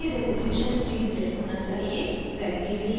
* printing के लिए resolution 300 होना चाहिए